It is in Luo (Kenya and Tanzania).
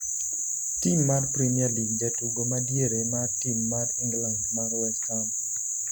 tim mar premier league jatugo ma diere mar tim mar England mar West Ham